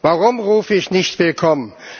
Warum rufe ich nicht willkommen?